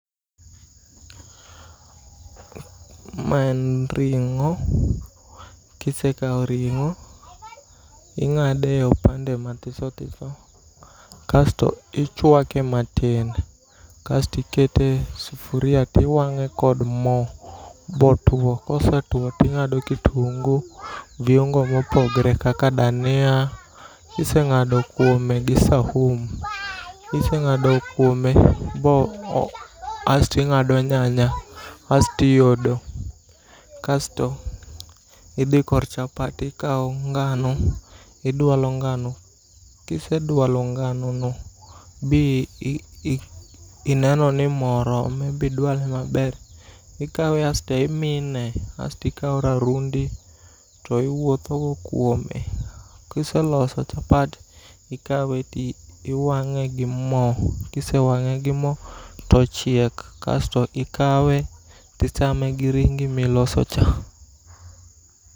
Ma en ring'o. Kise kaw ring'o ingade opande matiso tiso. Kasto ichwake matin. Kasto ikete sufria tiwang'e kod mo bo tuo. Kosetuo tingado kitungu viungu mopogore kaka dania. Kiseng'ado kuome gi sahumu. Kiseng'ado kuomo kasto ing'ado nyanya kasto i odo. Kasto idhi kor chapat. Ikaw ngano. Idwalo ngano. Kisedwalo ngano no bi ineno ni mo orome be idwale maber. Ikawe asto imine. Asto ikaw rarundi to iwuotho go kuomo. Kiseloso chapat ikawe to iwang'e gi mo to ochiek. Ksto ikawe ichame gi ringI miloso cha.